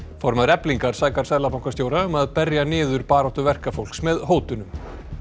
formaður Eflingar sakar seðlabankastjóra um að berja niður baráttu verkafólks með hótunum